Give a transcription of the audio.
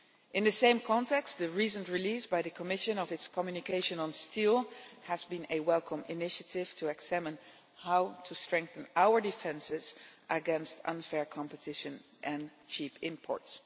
In the same context, the recent release by the Commission of its communication on steel has been a welcome initiative to examine how to strengthen our defences against unfair competition and cheap imports.